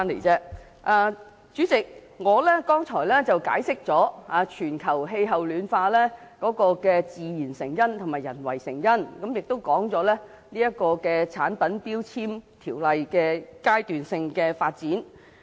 主席，我剛才解釋了全球暖化的自然因素及人為因素，亦講述了強制性標籤計劃的階段性發展。